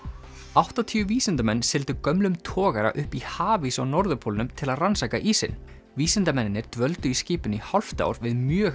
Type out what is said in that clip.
áttatíu vísindamenn sigldu gömlum togara upp í hafís á norðurpólnum til að rannsaka ísinn vísindamennirnir dvöldu í skipinu í hálft ár við mjög